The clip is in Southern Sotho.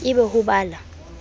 e be ho ba la